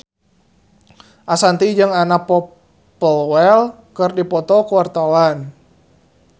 Ashanti jeung Anna Popplewell keur dipoto ku wartawan